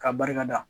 K'a barika da